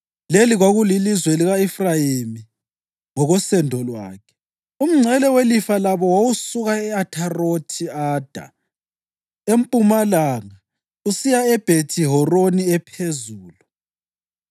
Leli kwakulilizwe lika-Efrayimi ngokosendo lwakhe: Umngcele welifa labo wawusuka e-Atharothi-Ada empumalanga usiya eBhethi-Horoni Ephezulu